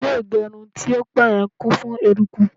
ilé igerun ti o ti pẹ yen kún fún eruku